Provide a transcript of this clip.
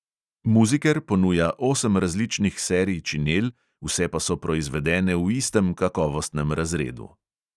Muziker ponuja osem različnih serij činel, vse pa so proizvedene v istem kakovostnem razredu.